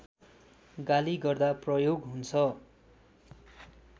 गाली गर्दा प्रयोग हुन्छ